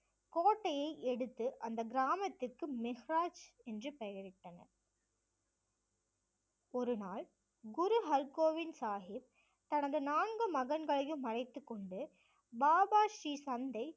கோட்டையை எடுத்து அந்த கிராமத்திற்கு மிஹராஜ் என்று பெயரிட்டனர் ஒருநாள் குரு ஹர்கோபிந்த் சாஹிப் தனது நான்கு மகன்களையும் அழைத்து கொண்டு பாபா ஸ்ரீ சந்த்தை